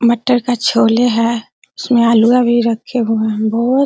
मटर का छोले है उसमे आलूआ भी रखे हुए है बहुत --